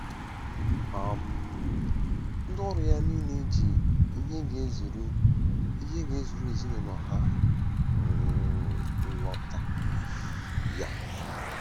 um Ndị ọrụ ya niile ji ihe ga-ezuru ihe ga-ezuru ezinụlọ ha um lọta. um